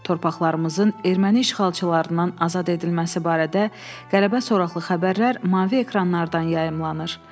Torpaqlarımızın erməni işğalçılarından azad edilməsi barədə qələbə soraqlı xəbərlər mavi ekranlardan yayımlanır.